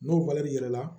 N'o yir'i la